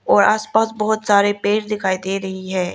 और आसपास बहुत सारे पेड़ दिखाई दे रही है।